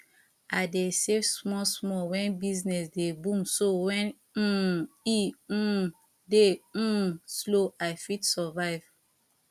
i dey save small small when business dey boom so when um e um dey um slow i fit survive